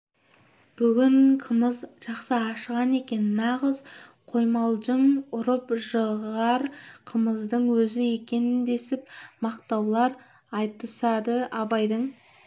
бүгін қымыз жақсы ашыған екен нағыз қоймалжың ұрып жығар қымыздың өзі екен десіп мақтаулар айтысады абайдың